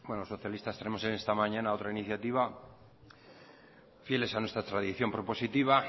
los socialistas tenemos esta mañana otra iniciativa fieles a nuestra tradición prepositiva